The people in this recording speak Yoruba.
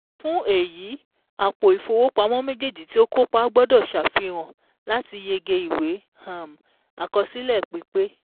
Fún èyí, àpò ìfowópamọ́ méjèèjì ti o kópa gbọ́dọ̀ sàfihàn láti yege ìwé um àkọsílẹ̀ pípé